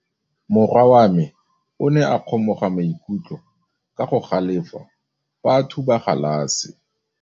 Morwa wa me o ne a kgomoga maikutlo ka go galefa fa a thuba galase.